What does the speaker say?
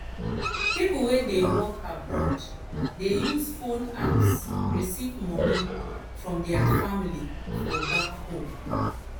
people wey dey work abroad dey use phone apps receive money from their family for back home.